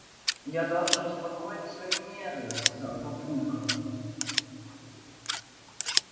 я должен успокоить свои нервы сказал папулька